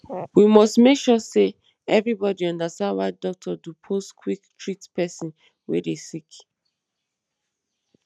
we must make sure say everybodi understand why doctor dupose quick treat pesin wey dey sick